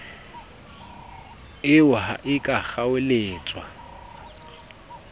eo ha e ka kgaoletswa